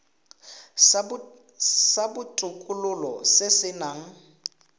sa botokololo se se nang